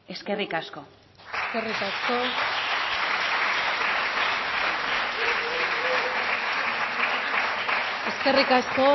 eskerrik asko eskerrik asko